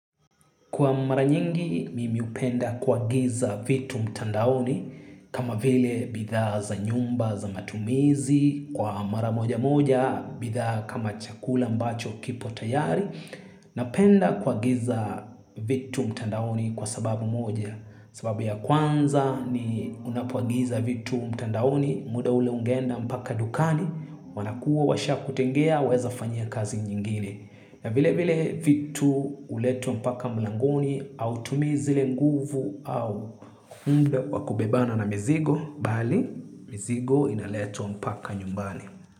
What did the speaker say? Kwa mara nyingi mimi hupenda kuagiza vitu mtandaoni kama vile bidha za nyumba za matumizi kwa mara moja moja bidha kama chakula ambacho kipo tayari na penda kuagiza vitu mtandaoni kwa sababu moja sababu ya kwanza ni unapoagiza vitu mtandaoni muda ule ungenda mpaka dukani wanakua washa kutengea weza fanyia kazi nyingine. Na vile vile vitu huletwa mpaka mlangoni au hautumizi le nguvu au humbe wakubebana na mizigo bali mizigo inaletwa mpaka nyumbani.